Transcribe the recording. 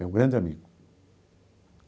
Meu grande amigo.